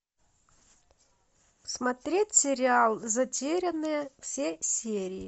смотреть сериал затерянные все серии